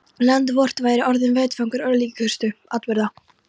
Land vort væri orðinn vettvangur örlagaríkustu atburða.